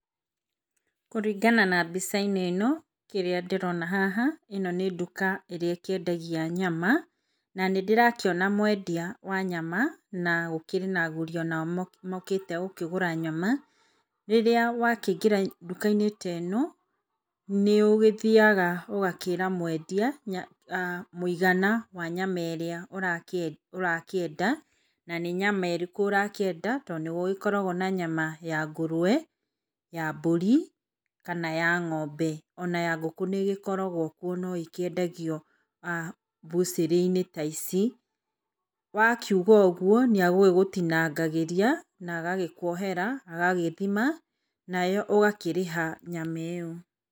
Kũringana na mbica-inĩ ĩno kĩrĩa ndĩrona haha nĩ nduka ĩrĩa ĩkĩendagia nyama na nĩ ndĩrakĩona mwendia wa nyama na gũkĩrĩ na agũri onao mokĩte gũkĩgũra nyama. Rĩrĩa wakĩingira nduka -inĩ ta ĩno nĩũgĩthiaga ũgakĩra mwendia mũigana wa nyama ĩrĩa ũrakĩenda na nĩnyama ĩrĩkũ ũrakĩenda tondũ, nĩ gũgĩkoragwo na nyama ya ngũrũwe, ya mbũri, kana ya ng'ombe. Ona ya ngũkũ niĩ gĩkoragwo kuo no ĩkĩendagio mbucĩrĩinĩ ta ici. Wakiuga ũguo nĩ agĩgũtinangagĩria na agagĩkwohera agagĩthima, agagĩkwohera nawe ũgakĩrĩha nyama ĩo.